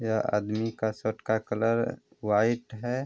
यह आदमी का शर्ट का कलर व्हाइट है ।